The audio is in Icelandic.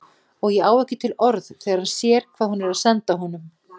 Og á ekki til orð þegar hann sér hvað hún er að senda honum.